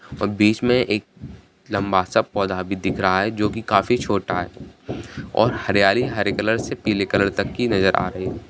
बीच में एक लंबा-सा पौधा भी नजर आ रहा है जो काफी छोटा है और हरियाली हरे से लेकर पीले रंग तक की नजर आ रही थी।